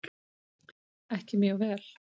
Ekki mjög vel.